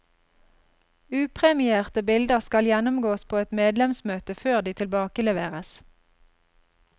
Upremierte bilder skal gjennomgås på et medlemsmøte før de tilbakeleveres.